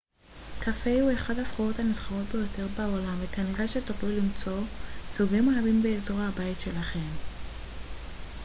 קפה הוא אחת הסחורות הנסחרות ביותר בעולם וכנראה שתוכלו למצוא סוגים רבים באזור הבית שלכם